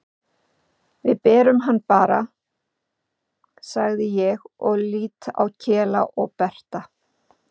Við berum hann bara, segi ég og lít á Kela og Berta.